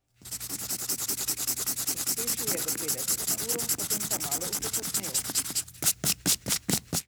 Pospešil je do petdeset na uro, potem pa malo upočasnil.